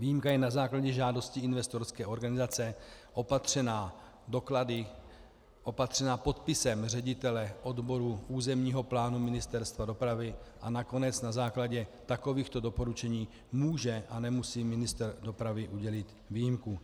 Výjimka je na základě žádosti investorské organizace opatřena doklady, opatřena podpisem ředitele odboru územního plánu Ministerstva dopravy, a nakonec na základě takovýchto doporučení může a nemusí ministr dopravy udělit výjimku.